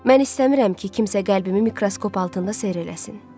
Mən istəmirəm ki, kimsə qəlbimi mikroskop altında seyr eləsin.